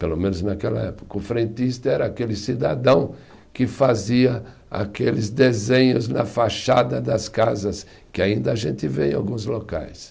Pelo menos naquela época, o frentista era aquele cidadão que fazia aqueles desenhos na fachada das casas, que ainda a gente vê em alguns locais.